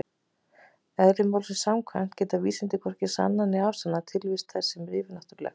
Eðli málsins samkvæmt geta vísindin hvorki sannað né afsannað tilvist þess sem er yfirnáttúrulegt.